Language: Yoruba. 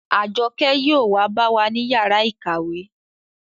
Àjọkẹ́ yóò wa bá wa ní yàrá ìkàwé